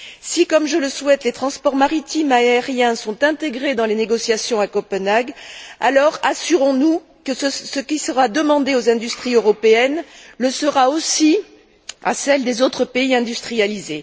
Si, comme je le souhaite, les transports maritimes et aériens sont intégrés dans les négociations à Copenhague, assurons nous que ce qui sera demandé aux industries européennes le sera aussi à celles des autres pays industrialisés.